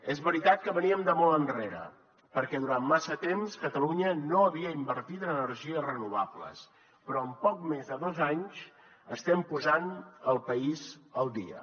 és veritat que veníem de molt enrere perquè durant massa temps catalunya no havia invertit en energies renovables però en poc més de dos anys estem posant el país al dia